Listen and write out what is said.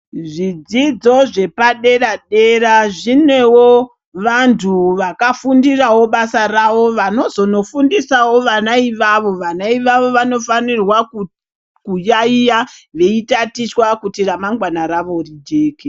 Zvidzidzo zvepadera dera zvinevo vantu vakafundirawo basa ravo vanozonofundisawo vana ivavo, vana ivavo vanofanirwa kuyayiya veitatichwa kuti ramangwana ravo rijeke.